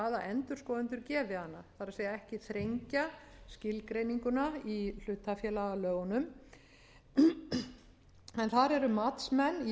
endurskoðendur gefi hana það er ekki þrengja skilgreininguna í hlutafélagalögunum en þar eru matsmenn